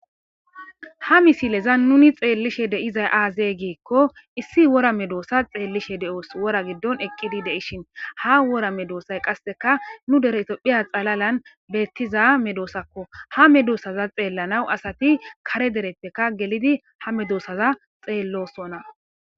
Ha misileza nuni xeellishe de7izay aazey giikko issi wora medoossa xeellishe de7oos wora giddon eqqidi de7ishin ha wora medoosay qasseka nu deretopphiya xalalan beettiza medoosakko ha medoossaza xeellanaw asati kare derepteka gelidi ha medoossaza xeellosona.